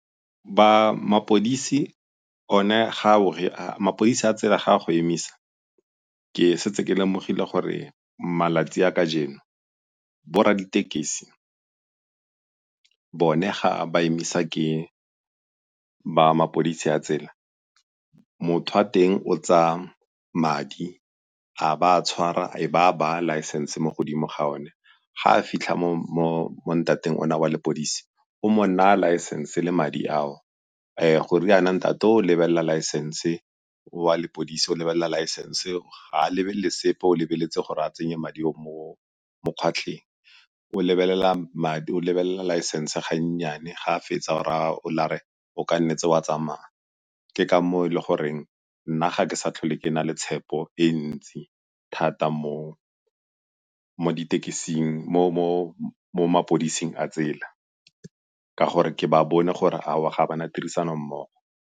mapodisi a tsela ga a go emisa ke setse ke lemogile gore malatsi a kajeno bo rra ditekesi bone ga ba emisa ke ba mapodisi a tsela, motho wa teng o tsaya madi a ba a a tshwara a be a baya license mo godimo ga one. Ga a fitlha mo ntateng ona wa lepodisi o mo naya license le madi ao goriana ntate o o lebelela license, o wa lepodisi o lebelela license, ga a lebelele sepe o lebeletse gore a tsenye madi o mo phatlheng. o lebelela laesense ga nnyane ga a fetsa o raya ola a re o ka nnetse wa tsamaya. Ke ka moo e le goreng nna ga ke sa tlhole ke na le tshepo e ntsi thata mo mapodiseng a tsela ka gore ke ba bone gore aowa ga ba na tirisanommogo.